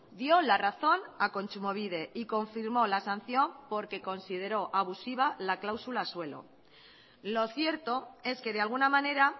dio la razón a kontsumobide y confirmó la sanción porque consideró abusiva la cláusula suelo lo cierto es que de alguna manera